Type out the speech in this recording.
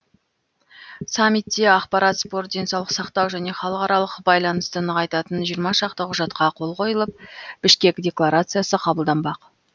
саммитте ақпарат спорт денсаулық сақтау және халықаралық байланысты нығайтатын жиырма шақты құжатқа қол қойылып бішкек декларациясы қабылданбақ